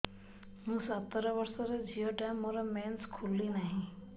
ମୁ ସତର ବର୍ଷର ଝିଅ ଟା ମୋର ମେନ୍ସେସ ଖୁଲି ନାହିଁ